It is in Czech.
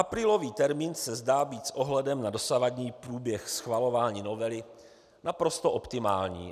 Aprílový termín se zdá být s ohledem na dosavadní průběh schvalování novely naprosto optimální.